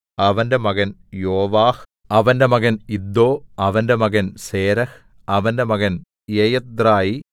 അവന്റെ മകൻ യോവാഹ് അവന്റെ മകൻ ഇദ്ദോ അവന്റെ മകൻ സേരഹ് അവന്റെ മകൻ യെയഥ്രായി